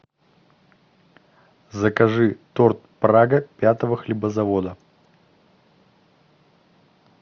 закажи торт прага пятого хлебозавода